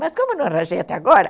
Mas como eu não arranjei até agora